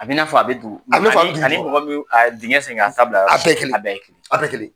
A bi na fɔ a bi a bi dugu kɔrɔ, ani mɔgɔ bɛ dingɛ sen ka taa bila yɔrɔ a bɛ, a bɛ kelen, a bɛ kelen.